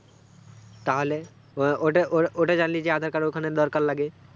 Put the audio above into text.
তাহলে ওই ওটাওটাওটা জানলি যে আধার কার্ড দরকার লাগে